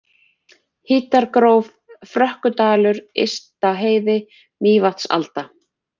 Hítargróf, Frökkudalur, Ystaheiði, Mývatnsalda